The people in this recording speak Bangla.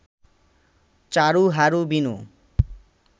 চারু হারু বিনু